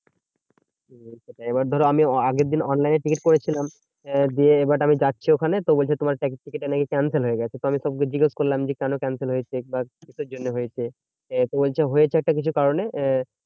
এইবার ধরো আমি আগেরদিন online এ টিকিট করেছিলাম। দিয়ে এবার আমি যাচ্ছি ওখানে, তো বলছে তোমার certificate টা নাকি cancel হয়ে গেছে। তো আমি সবকে জিজ্ঞেস করলাম যে কেন cancel হয়েছে? বা কিসের জন্য হয়েছে? তো বলছে হয়েছে একটা কিছু কারণে আহ